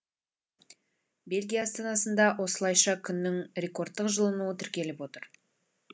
бельгия астанасында осылайша күннің рекордтық жылынуы тіркеліп отыр